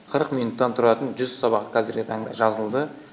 қырық минуттан тұратын жүз сабақ қазіргі таңда жазылды